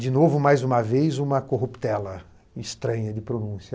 De novo, mais uma vez, uma corruptela estranha de pronúncia.